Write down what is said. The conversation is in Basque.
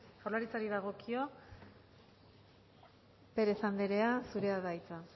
jaurlaritzari dagokio pérez andrea zurea da hitza